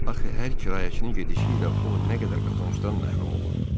Axı hər kirayəçinin gedişi ilə o nə qədər qazancdan məhrum olurdu.